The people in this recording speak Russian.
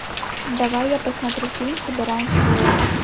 давай я посмотрю фильм собираем силуэт